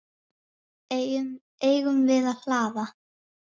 Eigum við að hlaða?